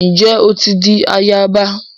Njé o ti dì àyaba?